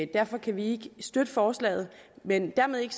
derfor kan vi ikke støtte forslaget men dermed ikke